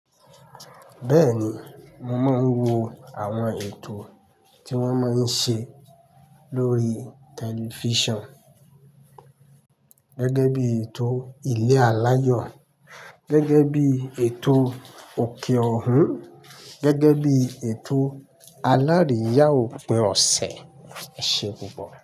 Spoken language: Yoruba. Bẹ́ẹ̀ni, mo máa ń wo àwọn ètò tí wón máa ń ṣe lórí tẹlifísàn. Gẹ́gẹ́ bí ètò ilé aláyọ̀, gẹ́gẹ́ bí ètò òkè ọ̀hún, gẹ́gẹ́ bí ètò alárìíyà òpin ọ̀sẹ̀, ẹse pupọ.